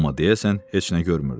Amma deyəsən heç nə görmürdü.